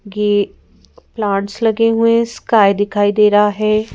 ये प्लांट्स लगे हुए हैं स्काई दिखाई दे रहा है ।